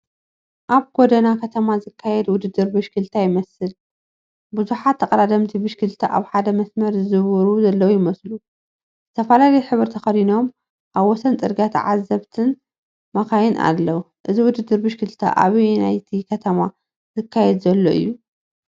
ኣብ ጎደና ከተማ ዝካየድ ውድድር ብሽክለታ ይመስል። ብዙሓት ተቐዳደምቲ ብሽክለታ ኣብ ሓደ መስመር ዝዝውሩ ለዉ ይመስሉ፣ ዝተፈላለየ ሕብሪ ተኸዲኖም። ኣብ ወሰን ጽርግያ ተዓዘብትን መካይንን ኣለው፡፡ እዚ ውድድር ብሽክለታ ኣብ ኣየነይቲ ከተማ ዝካየድ ዘሎ እዩ?